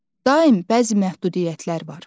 Daim bəzi məhdudiyyətlər var.